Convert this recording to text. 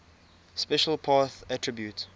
special path attribute